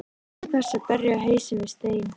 Til hvers að berja hausnum við stein?